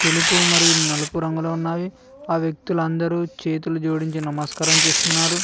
తెలుపు మరియు నలుపు రంగులో ఉన్నావి ఆ వ్యక్తులు అందరూ చేతులు జోడించి నమస్కారం చేస్తున్నారు.